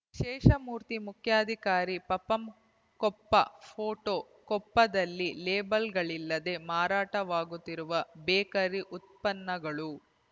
ಶೇಷಮೂರ್ತಿ ಮುಖ್ಯಾಧಿಕಾರಿ ಪಪಂ ಕೊಪ್ಪ ಫೋಟೋ ಕೊಪ್ಪದಲ್ಲಿ ಲೇಬಲ್‌ಗಳಿಲ್ಲದೆ ಮಾರಾಟವಾಗುತ್ತಿರುವ ಬೇಕರಿ ಉತ್ಪನ್ನಗಳು